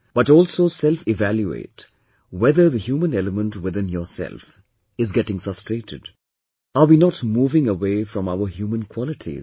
But also selfevaluate whether the human element within yourself is getting frustrated, are we not moving away from our human qualities